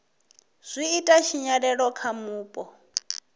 zwi ita tshinyalelo kha vhupo